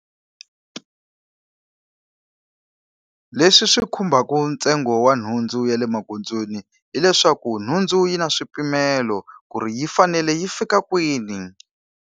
Leswi swi khumbaka ntsengo wa nhundzu ya le magondzweni hileswaku nhundzu yi na swipimelo ku ri yi fanele yi fika kwini.